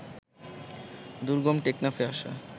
দুর্গম টেকনাফে আসা